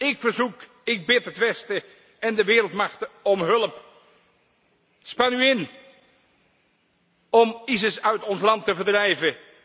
Kerk. Ik verzoek, ik bid het Westen en de wereldmachten om hulp. Span u in om IS uit ons land te verdrijven.